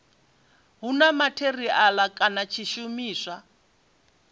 hu na matheriala kana tshishumiswa